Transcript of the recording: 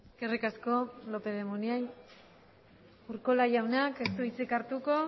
eskerrik asko lópez de munain urkola jaunak ez du hitzik hartuko